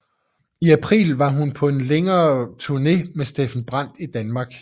I april var hun på en længere turné med Steffen Brandt i Danmark